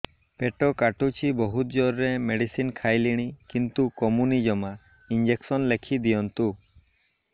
ପେଟ କାଟୁଛି ବହୁତ ଜୋରରେ ମେଡିସିନ ଖାଇଲିଣି କିନ୍ତୁ କମୁନି ଜମା ଇଂଜେକସନ ଲେଖିଦିଅନ୍ତୁ